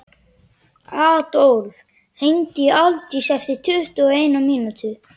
Adólf, hringdu í Aldísi eftir tuttugu og eina mínútur.